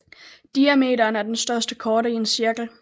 Diameteren er den største korde i en cirkel